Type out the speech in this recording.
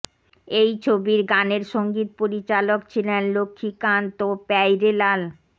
এই ছবির গানের সঙ্গীত পরিচালক ছিলেন লক্ষ্মীকান্ত ও প্যায়রেলাল